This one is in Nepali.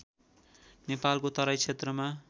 नेपालको तराई क्षेत्रमा